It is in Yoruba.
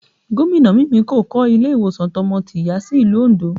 Gomina Mimiko kọ́ ilé ìwòsàn tọmọ-tìyá sí ìlú Ondo